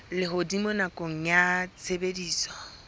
a lehodimo nakong ya tshebediso